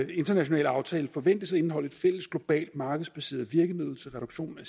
international aftale forventes at indeholde et fælles globalt markedsbaseret virkemiddel til reduktion af